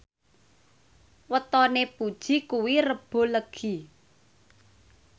wetone Puji kuwi Rebo Legi